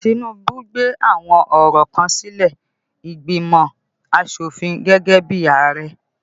Tinubu gbé àwọn ọ̀rọ̀ kan sílé ìgbìmò asofin gẹ́gẹ́ bí Ààrẹ